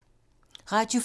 Radio 4